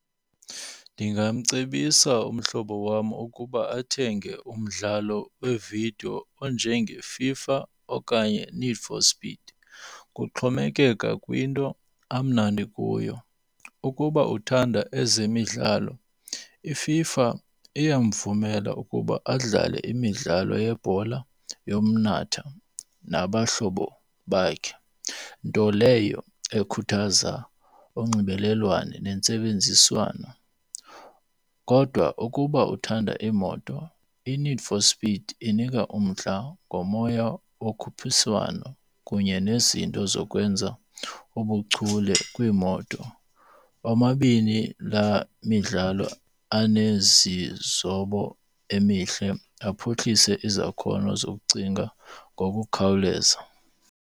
Ndingamcebisa umhlobo wam ukuba athenge umdlalo wevidiyo onjengeFIFA okanye Need for Speed. Kuxhomekeka kwinto amnandi kuyo. Ukuba uthanda ezemidlalo iFIFA iyamvumela ukuba adlale imidlalo yebhola, yomnatha nabahlobo bakhe. Nto leyo ekhuthaza unxibelelwano nentsebenziswano. Kodwa ukuba uthanda iimoto, iNeed for Speed inika umdla ngomoya wokhuphiswano kunye nezinto zokwenza ubuchule kwiimoto. Omabini la midlalo anezizobo emihle aphuhlise izakhono zokucinga ngokukhawuleza.